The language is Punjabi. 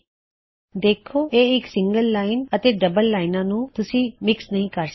ਤੁਸੀ ਦੇਖ ਸਕਦੇ ਹੋਂ ਕੀ ਇਹ ਇੱਕ ਸਿੰਗਲ ਲਾਇਨ ਹੈ ਅਤੇ ਇਹ ਡਬਲ ਲਾਇਨਸ ਹਨ ਤੇ ਤੁਸੀਂ ਇਹਨਾ ਨੂੰ ਮਿਕ੍ਸ ਨਹੀ ਕਰ ਸਕਦੇ